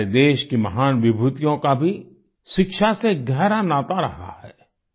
हमारे देश की महान विभूतियों का भी शिक्षा से गहरा नाता रहा है